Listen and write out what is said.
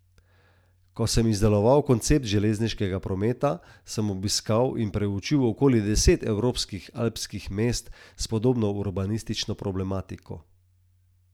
Ko sem izdeloval koncept železniškega prometa, sem obiskal in preučil okoli deset evropskih alpskih mest s podobno urbanistično problematiko.